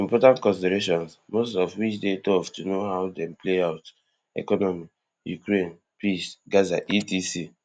important considerations most of which dey tough to know how dem play out economy ukraine peace gaza etc